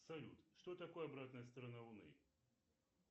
салют что такое обратная сторона луны